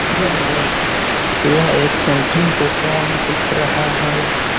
यह एक सेंटरिंग का काम दिख रहा है।